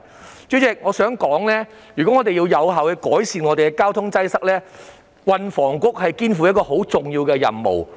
代理主席，我想指出，如果我們想有效改善交通擠塞，運房局肩負很重要的任務。